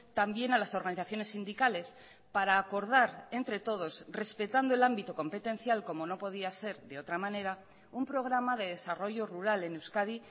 también a las organizaciones sindicales para acordar entre todos respetando el ámbito competencial como no podía ser de otra manera un programa de desarrollo rural en euskadi